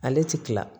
Ale ti kila